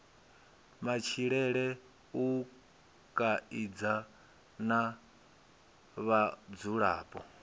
matshilele u kaidza na vhadzulapo